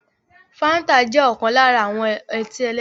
Fanta jẹ́ ọ̀kan lára àwọn ọtí ẹlẹ́rìndòdò